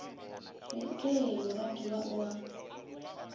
re ee moratiwa o a